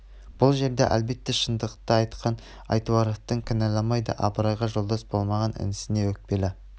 бұл жерде әлбетте шындықты айтқан айтуаровты кінәламайды абыройға жолдас болмаған інісіне өкпелі